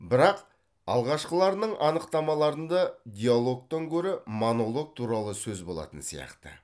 бірақ алғашқыларының анықтамаларында диалогтан гөрі монолог туралы сөз болатын сияқты